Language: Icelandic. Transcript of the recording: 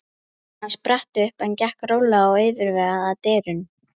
Hann spratt upp en gekk rólega og yfirvegað að dyrunum.